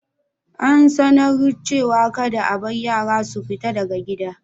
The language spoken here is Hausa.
An sanar cewa kadda a bar yara su fita daga gida.